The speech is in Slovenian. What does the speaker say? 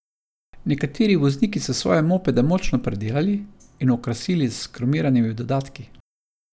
Nekateri vozniki so svoje mopede močno predelali in okrasili s kromiranimi dodatki.